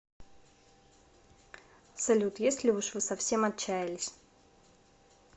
салют если уж вы совсем отчаялись